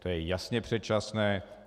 To je jasně předčasné.